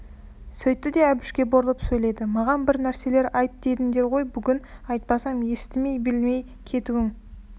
сөйтті де әбішке бұрылып сөйледі маған бір нәрселер айт дедіңдер ғой бүгін айтпасам естімей білмей кетуің